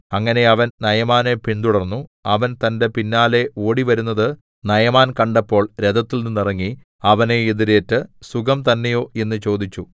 അങ്ങനെ അവൻ നയമാനെ പിന്തുടർന്നു അവൻ തന്റെ പിന്നാലെ ഓടിവരുന്നത് നയമാൻ കണ്ടപ്പോൾ രഥത്തിൽനിന്നിറങ്ങി അവനെ എതിരേറ്റ് സുഖം തന്നെയോ എന്ന് ചോദിച്ചു